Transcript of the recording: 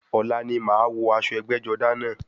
Ọ̀la ni màá wọ aṣọ ẹgbẹ́-jọdá náà.